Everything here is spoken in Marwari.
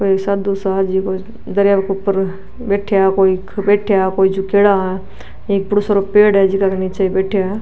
कोई साधु सा दरिया के ऊपर बैठा है कोई बैठा है कोई झुकेडा है एक बड़ो सारो पेड़ है जीका निचे बैठा --